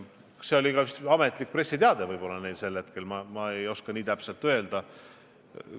Selline oli vist ka nende ametlik pressiteade, ma päris täpselt ei oska öelda.